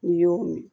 N'i y'o min